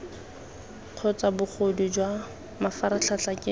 kgotsa bogodu jwa mafaratlhatlha ke